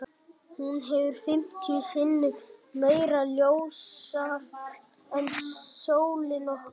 Hún hefur fimmtíu sinnum meira ljósafl en sólin okkar.